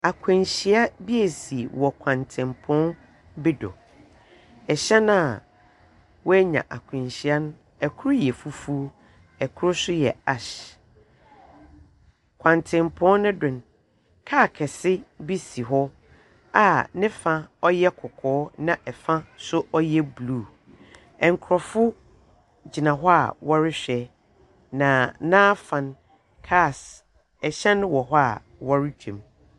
Akwenhyia bi esi wɔ kwantsenpɔn bi do. Hyɛn a woenya akwenhyia no, kor yɛ fufuw, kor nso yɛ ash. Kwantsenpɔ no do no, car kɛse bi si hɔ a ne fa yɛ kɔkɔɔ, na ɛfa nso ɔyɛ blue. Nkorɔfo gyina hɔ a wɔrehwɛ, na n'afa no, cars ɛhyan wɔ hɔ a wɔretwa mu.